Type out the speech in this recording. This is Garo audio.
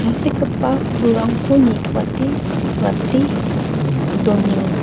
tangsekgipa pulrangko nitoate rate donenga.